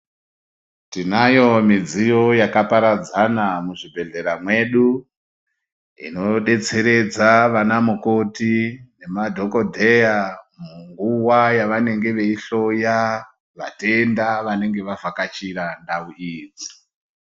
Tinayo midziyo yakaparadzana muzvibhedhlera mwedu inodetseredza vana mukoti nemadhokodheya munguwa yavanenge veihloya vatenda vanenge vavhakachira ndau iyi.